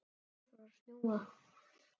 Svo fór að snjóa.